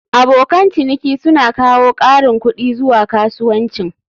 Abokan ciniki suna kawo ƙarin kuɗi zuwa kasuwancin.